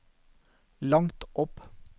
langt opp